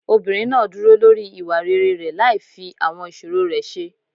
Obìnrin náà dúró lórí ìwà rere rẹ̀ láì fi àwọn ìṣòro rẹ̀ ṣe.